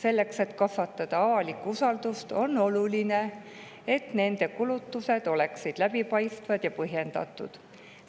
Avalikkuse usalduse kasvatamiseks on oluline, et nende kulutused oleksid läbipaistvad ja põhjendatud.